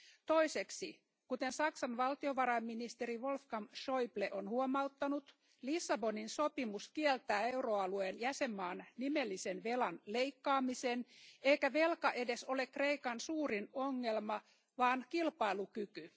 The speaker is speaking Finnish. Toiseksi, kuten Saksan valtiovarainministeri Wolfgang Schäuble on huomauttanut, Lissabonin sopimus kieltää euroalueen jäsenmaan nimellisen velan leikkaamisen, eikä velka edes ole Kreikan suurin ongelma, vaan kilpailukyky.